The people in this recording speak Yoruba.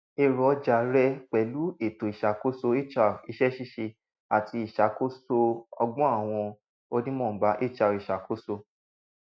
ẹrọ ọja rẹ pẹlu eto iṣakoso hr iṣẹ ṣiṣe ati iṣakoso ọgbọn awọn onínọmbà hr iṣakoso